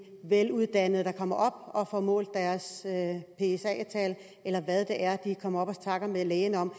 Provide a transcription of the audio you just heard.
veluddannede der kommer op og får målt deres psa tal eller hvad det er de kommer op og snakker med lægen om